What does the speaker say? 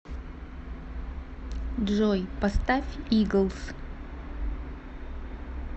джой поставь иглс